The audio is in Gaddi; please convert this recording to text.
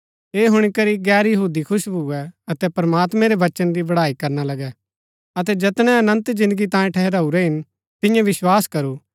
ऐह हुणी करी गैर यहूदी खुश भुऐ अतै प्रमात्मैं रै वचन री बड़ाई करना लगै अतै जैतनै अनन्त जिन्दगी तांयें ठहराऊरै हिन तिन्ये विस्वास करू